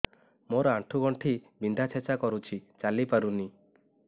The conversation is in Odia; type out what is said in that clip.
ମୋର ଆଣ୍ଠୁ ଗଣ୍ଠି ବିନ୍ଧା ଛେଚା କରୁଛି ଚାଲି ପାରୁନି